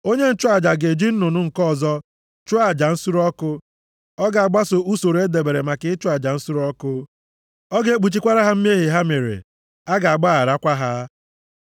Onye nchụaja ga-eji nnụnụ nke ọzọ chụọ aja nsure ọkụ. Ọ ga-agbaso usoro e debere maka ịchụ aja nsure ọkụ. + 5:10 \+xt Lev 1:14-17\+xt* Ọ ga-ekpuchikwara ha mmehie ha mere. A ga-agbagharakwa ha.